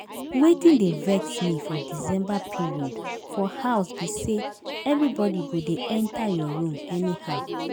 Wetin dey vex me for December period for house be say everybody go dey enter your room anyhow